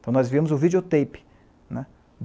Então, nós vimos o videotape.